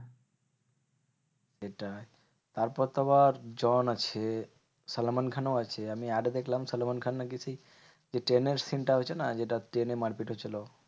সেটাই তারপর তো আবার জন আছে সালমান খানও আছে। আমি add দেখলাম সালমান খান নাকি সেই যে ট্রেনের scene টা হয়েছে না? যেটা ট্রেনে মারপিট হচ্ছিলো?